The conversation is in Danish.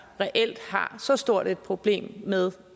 reelt har så stort et problem med